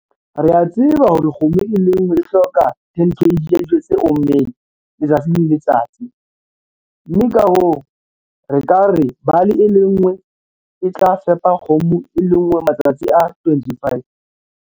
Re a tseba hore kgomo e le nngwe e hloka 10 kg ya dijo tse ommeng letsatsi le letsatsi, mme ka hoo, re ka re bale e le nngwe e tla fepa kgomo e le nngwe matsatsi a 25.